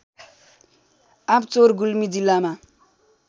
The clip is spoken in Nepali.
आँपचौर गुल्मी जिल्लामा